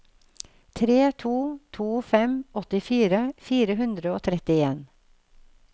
tre to to fem åttifire fire hundre og trettien